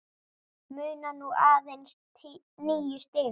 Munar nú aðeins níu stigum.